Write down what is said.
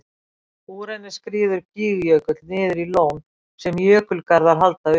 Úr henni skríður Gígjökull niður í lón sem jökulgarðar halda uppi.